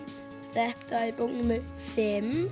þetta er bók númer fimm